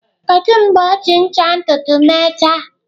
Kedu mgbe o ji ncha ntutu mechaa?